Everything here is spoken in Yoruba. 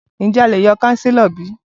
Ǹjẹ́ a lè yọ kánsílọ̀ bi?